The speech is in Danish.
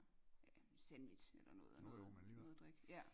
Ja sandwich eller noget og noget noget at drikke